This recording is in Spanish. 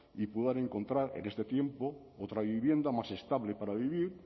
y puedan encontrar en este tiempo otra vivienda más estable para vivir